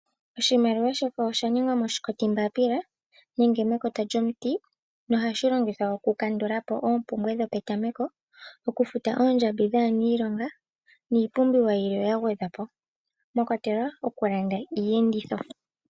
Oshimaliwa shefo osha ningwa moombapila nenge mekota lyomiti nohashi longithwa okukandula po oompumbwe dhopetame ko, okufuta oondjambi dhaaniilonga niipumbiwa yilwe ya gwedhwa po mwa kwatelwa okulanda iiyenditho.